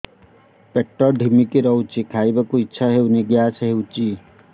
ପେଟ ଢିମିକି ରହୁଛି ଖାଇବାକୁ ଇଛା ହଉନି ଗ୍ୟାସ ହଉଚି